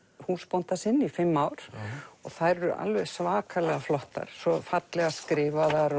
húsbónda sinn í fimm ár og þær eru alveg svakalega flottar svo fallega skrifaðar